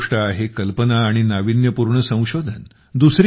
पहिली गोष्ट आहे कल्पना आणि नाविन्य पूर्ण संशोधन